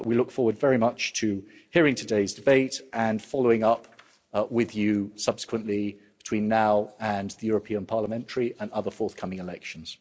We look forward very much to hearing today's debate and following up with you subsequently between now and the European parliamentary and other forthcoming elections.